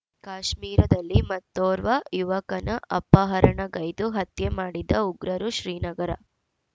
ಕಾಶ್ಮೀರದಲ್ಲಿ ಮತ್ತೋರ್ವ ಯುವಕನ ಅಪಹರಣಗೈದು ಹತ್ಯೆ ಮಾಡಿದ ಉಗ್ರರು ಶ್ರೀನಗರ